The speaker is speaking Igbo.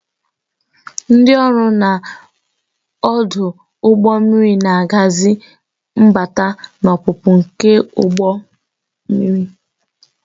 Ndị ọrụ na ọdụ ụgbọ mmiri na-ahazi mbata na ọpụpụ nke ụgbọ mmiri.